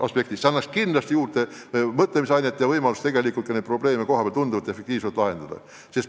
See kõik pakub kindlasti mõtlemisainet, kuidas laiendada võimalusi probleeme kohapeal tunduvalt efektiivsemalt lahendada.